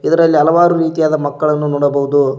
ಇದರಲ್ಲಿ ಹಲವಾರು ರೀತಿಯಾದ ಮಕ್ಕಳನ್ನ ನೋಡಬಹುದು.